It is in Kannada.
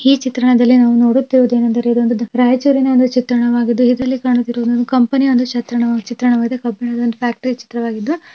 ಈ ಚಿತ್ರಣದಲ್ಲಿ ನಾವು ನೋಡುತ್ತಿರುವುದು ಏನಂದರೆ ರಾಯಚೂರಿನ ಒಂದು ಚಿತ್ರಣವಾಗಿದ್ದು ಇದರಲ್ಲಿ ಕಾಣುತ್ತಿರುವುದು ಒಂದು ಕಂಪೆನಿಯ ಒಂದಿ ಚಿತ್ರಣ ಚಿತ್ರಣವಾಗಿದೆ ಕಬ್ಬಿಣದ ಒಂದು ಫ್ಯಾಕ್ಟರಿ ಚಿತ್ರವಾಗಿದ್ದು--